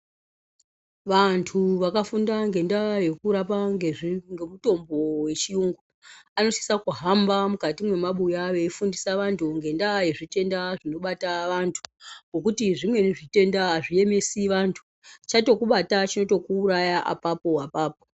Vantu vakafunda ngendaya yekurapa ngemitombo wechiyungu anofanira kuhamba mukati memabuya veyifundisa vantu ngendaa ye zvitenda zvinobata antu ngekuti zvimweni zvitenda azviemesi antu chatokubata chinotokuuraya apapo apapo.